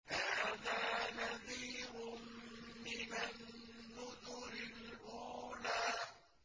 هَٰذَا نَذِيرٌ مِّنَ النُّذُرِ الْأُولَىٰ